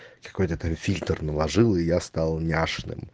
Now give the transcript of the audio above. какой-то там фильтр наложил и я стал няшным